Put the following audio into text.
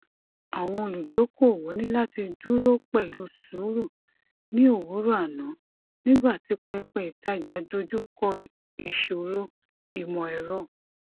àwọn olùdókòówo ní láti dúró pẹlú sùúrù ní òwúrọ àná nígbà tí pẹpẹ ìtajà dojú kọ ìṣòro imọ ẹrọ